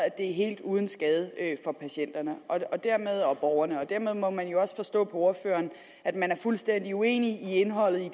er helt uden skade for patienterne og borgerne dermed må jeg jo også forstå på ordføreren at man er fuldstændig uenig i indholdet i